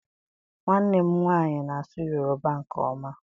Nwannem nwanyi na-asu yoruba nke oma.